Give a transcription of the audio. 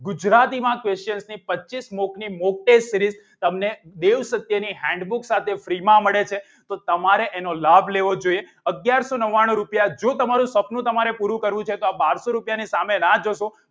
ગુજરાતીમાં questions ને પચીસ મૂકની મોક testseries તમને દેવ સત્યની handbook સાથે free માં મળે છે તો તમારે એનો લાભ લેવો જોઈએ અગિયારસો નવ્વાણું રૂપિયા જો તમારું સપનું તમારી પૂરું કરવું છે તો આ બરસો રૂપિયાની સામે ના જોશો